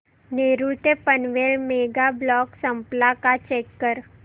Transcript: नेरूळ ते Panvel mega block संपला का चेक कर